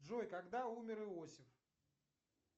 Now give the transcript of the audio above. джой когда умер иосиф